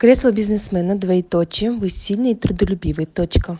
кресло бизнесмена двоеточие вы сильные и трудолюбивые точка